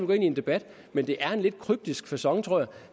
gå ind i en debat men jeg er en lidt kryptisk facon